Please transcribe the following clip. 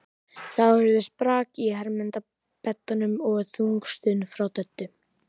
Þá heyrðist brak í hermannabeddanum og þung stuna frá Döddu.